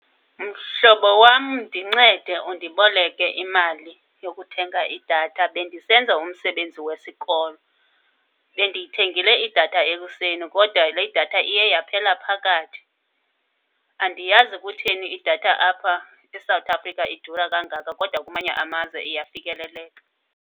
Mhlobo wam, ndincede undiboleke imali yokuthenga idatha, bendisenza umsebenzi wesikolo. Bendiyithengile idatha ekuseni kodwa le idatha iye yaphela phakathi. Andiyazi kutheni idatha apha eSouth Africa idura kangaka kodwa kwamanye amazwe iyafikeleleka.